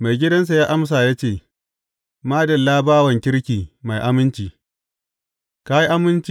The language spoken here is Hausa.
Maigidansa ya amsa ya ce, Madalla, bawan kirki mai aminci!